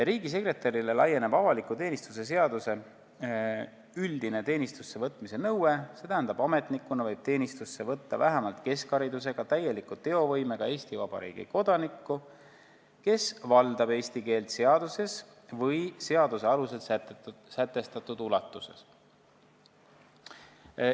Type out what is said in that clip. Riigisekretärile laieneb avaliku teenistuse seaduses olev üldine teenistusse võtmise nõue, st ametnikuna võib teenistusse võtta vähemalt keskharidusega, täieliku teovõimega Eesti Vabariigi kodaniku, kes valdab eesti keelt seaduses või seaduse alusel sätestatud ulatuses.